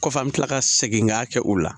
Kɔfɛ an me kila ka segin k'a kɛ o la